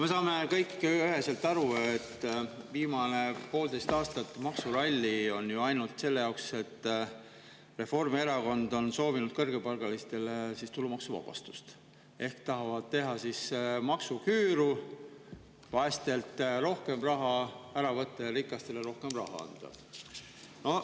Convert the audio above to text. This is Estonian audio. Me saame kõik üheselt aru, et viimane poolteist aastat maksurallit on olnud ju ainult selle jaoks, et Reformierakond soovib kõrgepalgalistele tulumaksuvabastust ehk tahab teha maksuküüru, vaestelt rohkem raha ära võtta ja rikastele rohkem raha anda.